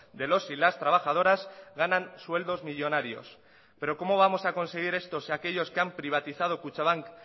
de los y las trabajadoras ganan sueldos millónarios pero cómo vamos a conseguir esto si aquellos que han privatizado kutxabank